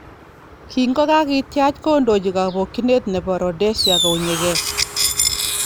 Kin kokakitiach kodochi kobokyinet nekibo Rhodesia kounyege.